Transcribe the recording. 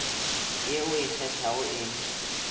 ye o e kgethago e